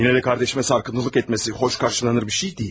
Yenə də qardaşıma sarkıntılıq etməsi xoş qarşılanılan bir şey deyil.